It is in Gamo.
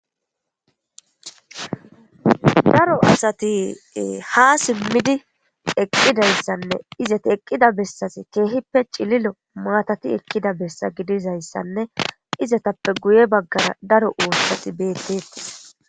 Daro asati ha simidí eqidayissanne izeti eqida besazi ciililo matati ekiza besa gididayisanne izetaple guye bagara daro uththati beteteesi